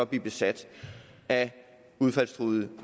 blive besat af udfaldstruede